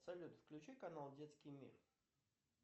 салют включи канал детский мир